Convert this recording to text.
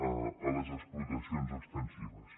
a les explotacions extensives